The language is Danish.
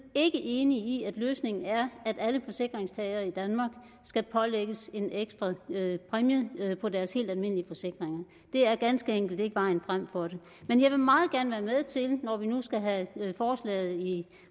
ikke enige i at løsningen er at alle forsikringstagere i danmark skal pålægges en ekstra præmie på deres helt almindelige forsikringer det er ganske enkelt ikke vejen frem for det men jeg vil meget gerne være med til når vi nu skal have forslaget i